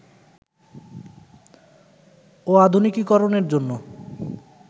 ও আধুনিকীকরণের জন্য